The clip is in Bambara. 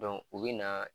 u bɛ na